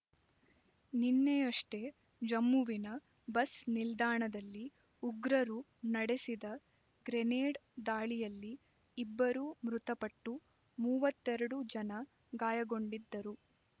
ನಿನ್ನೆಯಷ್ಟೇ ಜಮ್ಮುವಿನ ಬಸ್ ನಿಲ್ದಾಣದಲ್ಲಿ ಉಗ್ರರು ನಡೆಸಿದ ಗ್ರೆನೇಡ್ ದಾಳಿಯಲ್ಲಿ ಇಬ್ಬರು ಮೃತಪಟ್ಟು ಮೂವತ್ತ್ ಎರಡು ಜನ ಗಾಯಗೊಂಡಿದ್ದರು